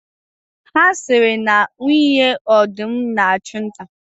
A siri na nwunye ọdụm na-achụ nta.